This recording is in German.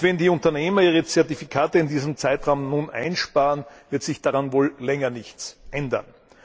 Und wenn die Unternehmer ihre Zertifikate in diesem Zeitraum einsparen, wird sich daran wohl länger nichts ändern.